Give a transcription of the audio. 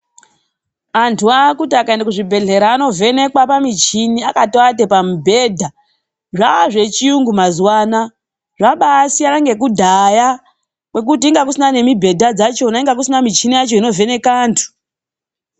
Antu aakuti akaenda kuzvibhedhlera anovhenekwa pamichini akatoate pamubhedha. Zvaa zvechiyungu mazuwa anaya. Zvabaasiyana nekudhaya, kwekuti kwanga kusina nemibhedha dzachona. Kwanga kusina michina yacho inovheneka antu.